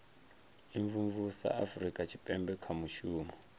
imvumvusa afurika tshipembe kha mushumo